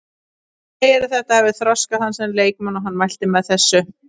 Hann segir að þetta hafi þroskað hann sem leikmann og hann mælti með þessu.